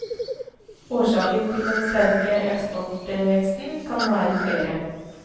Årsaken til den sterke eksportveksten kan være flere.